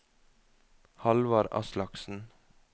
Hallvard Aslaksen